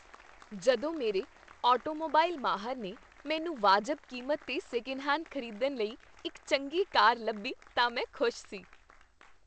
ਜਦੋਂ ਮੇਰੇ ਆਟੋਮੋਬਾਈਲ ਮਾਹਰ ਨੇ ਮੈਨੂੰ ਵਾਜਬ ਕੀਮਤ 'ਤੇ ਸੈਕਿੰਡ ਹੈਂਡ ਖ਼ਰੀਦਣ ਲਈ ਇੱਕ ਚੰਗੀ ਕਾਰ ਲੱਭੀ ਤਾਂ ਮੈਂ ਖ਼ੁਸ਼ ਸੀ।